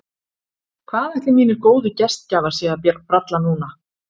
Hvað ætli mínir góðu gestgjafar séu að bralla núna?